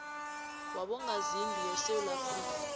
wabongazimbi yesewula afrika